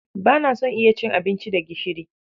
Ba na son iya cin abinci da gishiri.